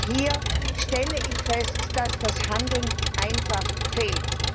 Hier stelle ich fest, dass das Handeln einfach fehlt.